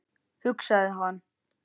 hugsaði hann.